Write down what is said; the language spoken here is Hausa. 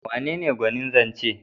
Wanene gwanin zance?